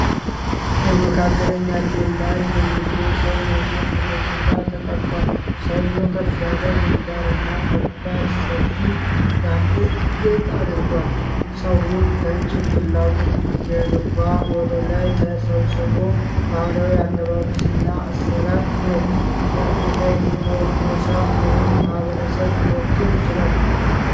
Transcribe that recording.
በመካከለኛ ዕድሜ ላይ የሚገኝ ሰው የጎን ገጽታ ተቀርጿል። ሰውየው ከፍ ያለ ግንባር እና ከባድ፣ ሰፊ የአንገት ጌጥ አድርጓል። ጸጉሩ ከጭንቅላቱ ጀርባ ወደ ላይ ተሰብስቦ፣ ባህላዊ አለባበስ እና አሠራር ነው። የአፍሪካ የትኛውን ጎሳ ወይም ማኅበረሰብ ሊወክል ይችላል?